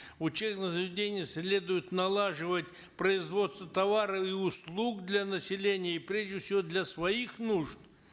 учебным заведениям следует налаживать производство товаров и услуг для населения и прежде всего для своих нужд